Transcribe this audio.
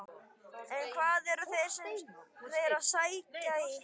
En hvað eru þeir að sækja í?